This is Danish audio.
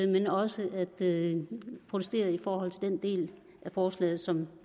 men også at protestere i forhold til den del af forslaget som